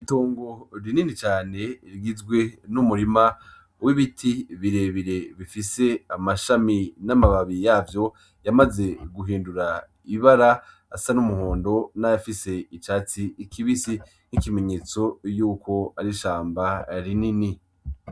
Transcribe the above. Itongo rinini cane rigizwe n'umurima w'ibiti birebire bifise amashami n'amababi yavyo yamaze guhindura ibara asa n'umuhondo n'ayandi n'icatsi kibisi nk'ikimenyetso Yuko ari ishamba rinini.